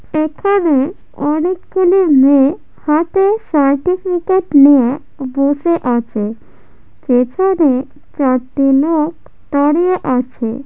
এখানেঅনেক গুলি মেয়েহাতে সার্টিফিকেট নিয়ে বসে আছে । পেছনে চারটি লোক দাঁড়িয়ে আছে ।